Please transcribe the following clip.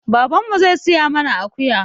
Baban mu zai siya mana akuya.